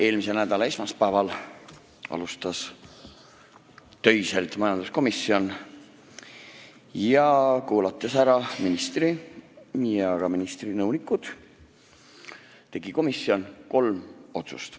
Eelmise nädala esmaspäeva alustas majanduskomisjon töiselt ning olles kuulanud ära ministri ja ka ministri nõunikud, tegi kolm otsust.